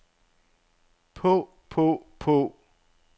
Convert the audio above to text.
på på på